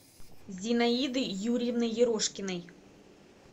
зинаиды юрьевны ерошкиной